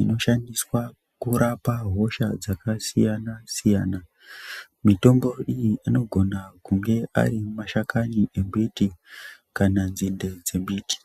inoshandiswa kurapa hosha dzakasiyana-siyana. Mitombo iyi anogona kunge ari mashakani embiti kana nzinde dzembiti.